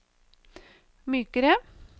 mykere